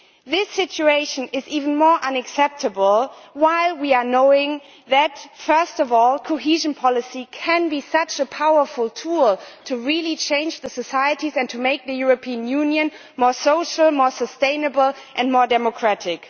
This situation is even more unacceptable when we know that, first of all, cohesion policy can be such a powerful tool to really change societies and to make the European Union more social, more sustainable and more democratic.